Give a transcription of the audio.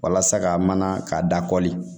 Walasa ka mana ka dakɔli